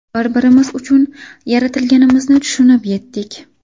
Bir-birimiz uchun yaratilganimizni tushunib yetdik.